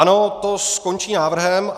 Ano, to skončí návrhem.